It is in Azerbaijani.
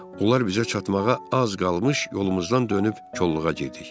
Onlar bizə çatmağa az qalmış yolumuzdan dönüb kolluğa getdik.